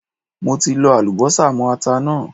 Mo ti lọ Àlùbọ́sà mó ata náà.